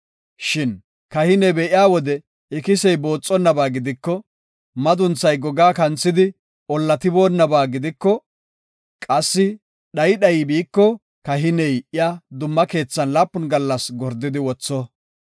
Shin kahiney be7iya wode ikisey booxonnaba gidiko, madunthay gogaa kanthidi ollatiboonaba gidiko, qassi dhayi dhayi biiko, kahiney iya dumma keethan laapun gallas gordidi wotho.